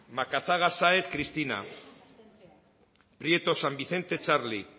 macazaga sáenz cristina prieto san vicente txarli